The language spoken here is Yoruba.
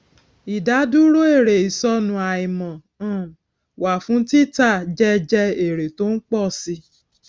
ìdádúró èrè ìsọnù àìmọ um wà fún títà jẹ jẹ èrè tó ń pọ si